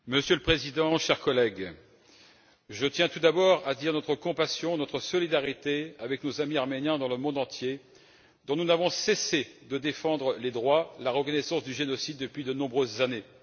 Monsieur le Président, chers collègues, je tiens tout d'abord à dire notre compassion et notre solidarité envers nos amis arméniens dans le monde entier, dont nous ne cessons de défendre les droits et la reconnaissance du génocide depuis de nombreuses années.